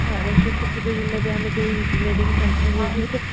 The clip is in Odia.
ସରସ୍ଵତୀ ପୂଜଦିନ ବି ଆମେ ଯୋଉ